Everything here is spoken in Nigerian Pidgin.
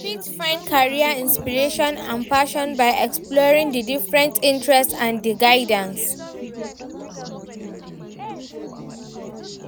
I fit find career inspiration and passion by exploring di different interests and di guidance.